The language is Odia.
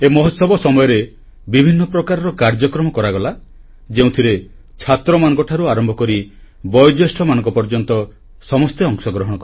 ଏ ମହୋତ୍ସବ ସମୟରେ ବିଭିନ୍ନ ପ୍ରକାରର କାର୍ଯ୍ୟକ୍ରମ କରାଗଲା ଯେଉଁଥିରେ ଛାତ୍ରମାନଙ୍କଠାରୁ ଆରମ୍ଭକରି ବୟୋଜ୍ୟେଷ୍ଠମାନଙ୍କ ପର୍ଯ୍ୟନ୍ତ ସମସ୍ତେ ଅଂଶଗ୍ରହଣ କଲେ